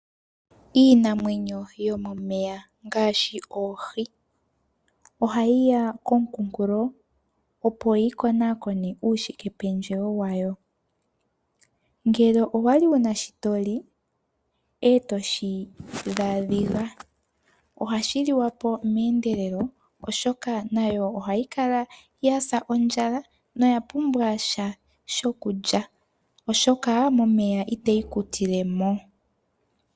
Iinamwenyo yomomeya ngaashi oohi ohayi ya komukunkulo opo yi konakone uushikependjewo wayo. Ngele owali wuna shi toli etoshi dhaadhiga ohashi liwa po meendelelo oshoka nayo ohayi kala yasa ondjala noya pumbwa sha shokulya oshoka momeya itayi kutile mo.